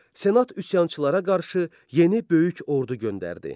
Senat üsyançılara qarşı yeni böyük ordu göndərdi.